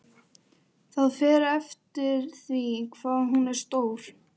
Það fer eftir því hvað hún er stór.